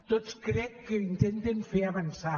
tots crec que intenten fer avançar